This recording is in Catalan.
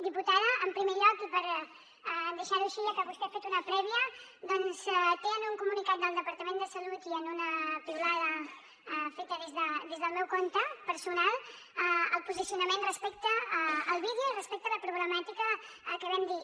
diputada en primer lloc i per deixar ho així ja que vostè ha fet una prèvia doncs té en un comunicat del departament de salut i en una piulada feta des del meu compte personal el posicionament respecte al vídeo i respecte a la problemàtica que vam dir